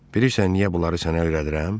Bilirsən niyə bunları sənə öyrədirəm?